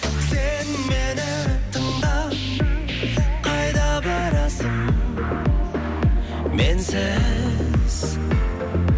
сен мені тыңда қайда барасың менсіз